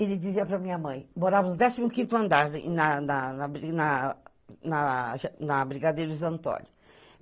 Ele dizia para minha mãe, morávamos no décimo quinto andar, na, na, na, na, na Brigadeiros Antônio.